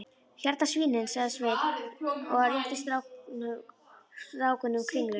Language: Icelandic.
Hérna svínin, sagði Sveinn og rétti strákunum kringlu.